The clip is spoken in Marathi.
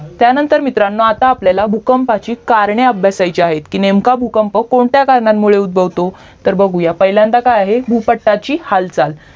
त्यानंतर मित्रानो आता आपल्याला भूकंपाची कारणे अभ्यासाची आहेत कि नेमका भूकंप कोणत्या कारणामुळे उद्भवतो तर बघूया तर पहिल्यांदा काय आहे भूपट्टाची हाल चाल